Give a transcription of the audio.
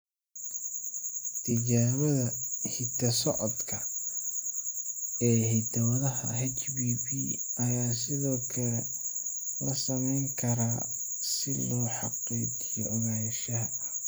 Tijaabada hidda-socodka ee hidda-wadaha HBB ayaa sidoo kale la samayn karaa si loo xaqiijiyo ogaanshaha.